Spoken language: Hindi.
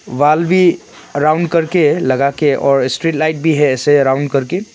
वॉल भी राउंड करके लगाके और स्ट्रीट लाइट भी है ऐसे राउंड करके।